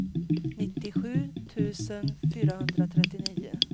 nittiosju tusen fyrahundratrettionio